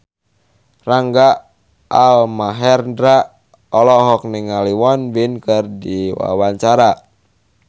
Rangga Almahendra olohok ningali Won Bin keur diwawancara